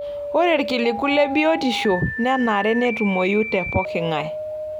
Ore ilkiliku le biotisho nenare netumoyu te pooking'ae.